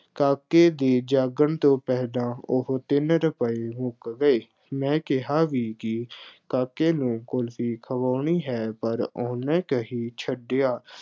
ਕਾਕੇ ਦੇ ਜਾਗਣ ਤੋਂ ਪਹਿਲਾਂ, ਉਹ ਤਿੰਨ ਰੁਪਏ ਮੁੱਕ ਗਏ। ਮੈਂ ਕਿਹਾ ਵੀ ਕਿ ਕਾਕੇ ਨੂੰ ਕੁਲਫੀ ਖਵਾਉਣੀ ਹੈ, ਪਰ ਉਹਨੇ ਕਹੀ, ਛੱਡ ਯਾਰ,